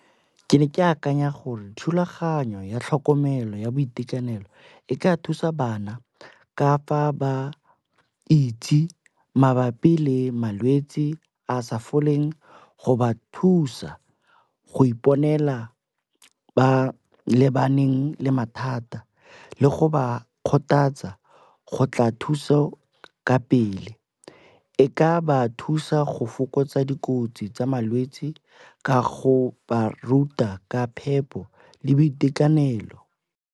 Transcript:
Ke ne ke akanya gore thulaganyo ya tlhokomelo ya boitekanelo e ka thusa bana ka fa ba itse mabapi le malwetsi a sa foleng go ba thusa go iponela ba lebaneng le mathata le go ba kgothatsa go tla thuso ka pele. E ka ba thusa go fokotsa dikotsi tsa malwetsi ka go ba ruta ka phepo le boitekanelo.